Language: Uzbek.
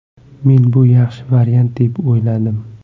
Men bu yaxshi variant deb o‘yladim.